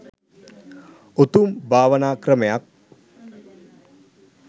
උතුම් භාවනා ක්‍රමයක්.